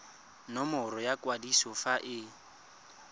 nomoro ya kwadiso fa e